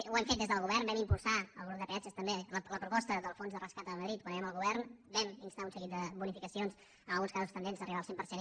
ho hem fet des del govern vam impulsar el grup de peatges també la proposta del fons de rescat a madrid quan érem al govern vam instar un seguit de bonificacions en alguns casos tendents a arribar al cent per cent